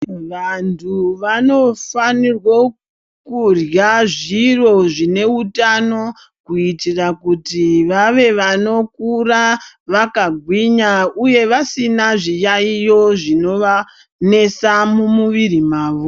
Vantu vanofanirwe kurya zviro zvine utano kuitira kuti vave vanokura vakagwinya uye vasina zviyaiyo zvinovanesa mumwiri mavo .